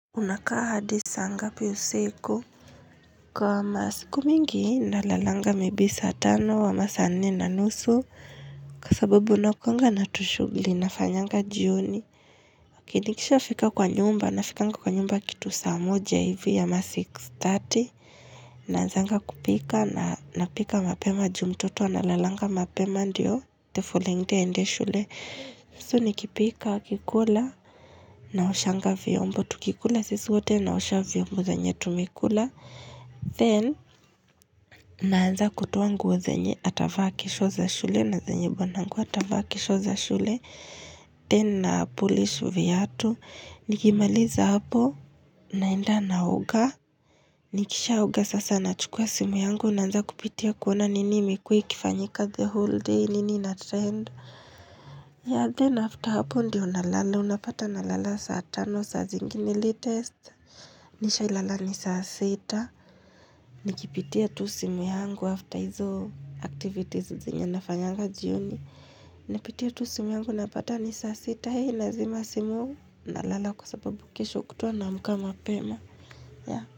Unakaa hadisaa ngapi usiku Kwa masiku mingi nalalanga maybe saa tano ama saa nne na nusu Kwa sababu nakuanga natushugli na fanyanga jioni. Kinikisha fika kwa nyumba na fika nga kwa nyumba kitu saa moja hivi ama six thirty Nanzanga kupika na napika mapema jumtoto wa nalalanga mapema ndiyo tefulengte ende shule so nikipika kikula na oshanga vyombo tukikula sisiwote na osha vyombo zenyetu mikula then naanza kutoa nguo zenye atavaa kesho za shule na zenye banangu atavaa kesho za shule Then na pulish viatu nikimaliza hapo. Naenda naoga nikisha oga sasa na chukua simu yangu naanza kupitia kuona nini mikui kifanyika the whole day nini ina trend ya, then after hapo ndiyo na lala, unapata na lala saa tano, saa zingini li test. Nisha ilala ni saa sita Nikipitia tu simu yangu after hizo activities zenyanafanyanga jioni Napitia tu simu yangu, unapata ni saa seta, hei nazima simu na lala kwa sababu kisho kutwa naamka mapema, yeah.